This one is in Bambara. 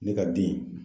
Ne ka den